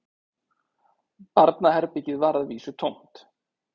Barnaherbergið var að vísu tómt